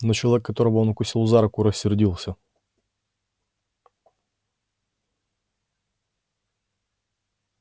но человек которого он укусил за руку рассердился